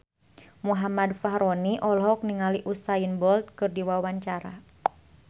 Muhammad Fachroni olohok ningali Usain Bolt keur diwawancara